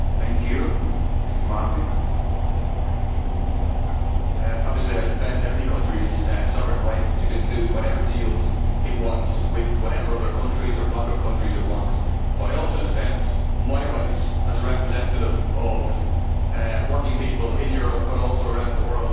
Obviously I defend every country's sovereign rights to conclude whatever deals it wants with whatever other countries or bloc of countries it wants, but I also defend my right, as a representative of working people in Europe, but also around the world, to put forward what I consider to be in the interests of ordinary people.